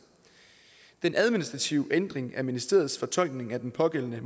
den administrative ændring af ministeriets fortolkning af den pågældende